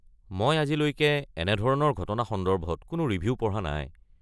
মই আজিলৈকে এনেধৰনৰ ঘটনা সন্দৰ্ভত কোনো ৰিভিউ পঢ়া নাই।